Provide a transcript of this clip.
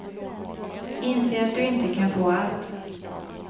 Inse att du inte kan få allt.